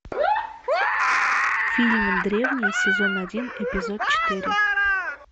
фильм древние сезон один эпизод четыре